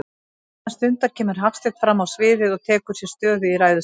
Innan stundar kemur Hafsteinn frammá sviðið og tekur sér stöðu í ræðustólnum.